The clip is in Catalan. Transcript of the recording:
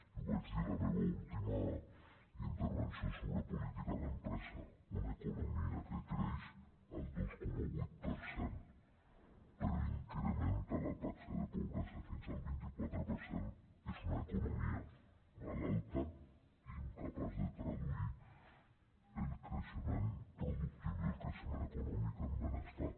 i ho vaig dir en la meva última intervenció sobre política d’empresa una economia que creix el dos coma vuit per cent però incrementa la taxa de pobresa fins al vint quatre per cent és una economia malalta i incapaç de traduir el creixement productiu i el creixement econòmic en benestar